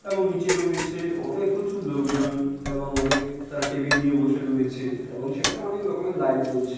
এবং নিচে রয়েছে অনেক প্রচুর লোকজন এবং অনেক তাঁরা টেবিল নিয়ে বসে রয়েছে এবং সেখানে অনেক রকমের লাইট জ্বলছে।